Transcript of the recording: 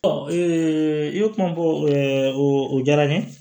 i ye kuma fɔ o diyara n ye